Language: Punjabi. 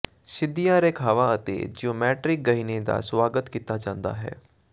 ਸਿੱਧੀਆਂ ਰੇਖਾਵਾਂ ਅਤੇ ਜਿਓਮੈਟਿਕ ਗਹਿਣੇ ਦਾ ਸੁਆਗਤ ਕੀਤਾ ਜਾਂਦਾ ਹੈ